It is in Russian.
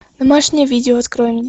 домашнее видео открой мне